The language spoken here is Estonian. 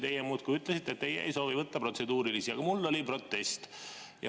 Teie muudkui ütlesite, et teie ei soovi võtta protseduurilisi küsimusi, aga mul oli protest.